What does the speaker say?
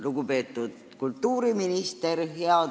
Lugupeetud kultuuriminister!